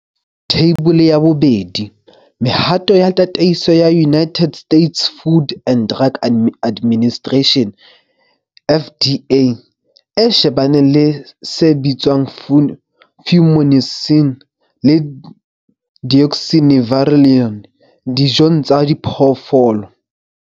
Theibole ya 2. Mehato ya tataiso ya United States Food and Drug Administration, FDA, e shebaneng le se bitswang Fumonisin le Deoxynivalenol dijong tsa diphoofolo.